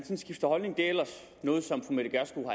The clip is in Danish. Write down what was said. skifter holdning det er ellers noget som fru mette gjerskov